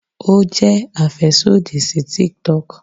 o jẹ afẹsodi si TikTok